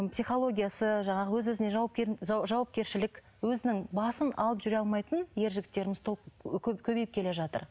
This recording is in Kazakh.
психологиясы жаңағы өз өзіне жауапкершілік өзінің басын алып жүре алмайтын ер жігіттеріміз толып көбейіп келе жатыр